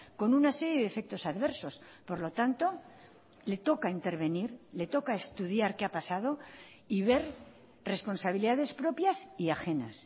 con una serie de efectos adversos por lo tanto le toca intervenir le toca estudiar qué ha pasado y ver responsabilidades propias y ajenas